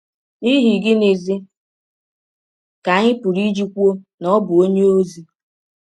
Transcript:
N’ihi gịnịzi ka anyị pụrụ iji kwụọ na ọ bụ ọnye ọzi?